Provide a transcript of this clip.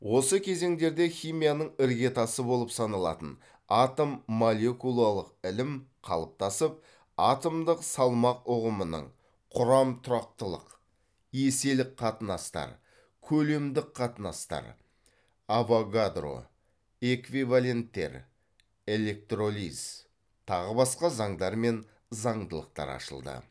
осы кезеңдерде химияның іргетасы болып саналатын атом молекулалық ілім қалыптасып атомдық салмақ ұғымының құрам тұрақтылық еселік қатынастар көлемдік қатынастар авогадро эквиваленттер электролиз тағы басқа заңдар мен заңдылықтар ашылды